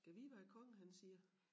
Gad vide hvad æ konge han siger